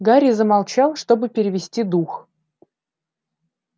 гарри замолчал чтобы перевести дух